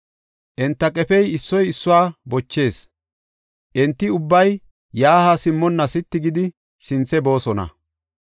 Enta qefey issoy issuwa bochees; enti ubbay yaa haa simmonna sitti gidi sinthe boosona.